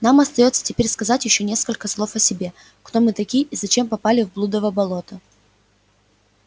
нам остаётся теперь сказать ещё несколько слов о себе кто мы такие и зачем попали в блудово болото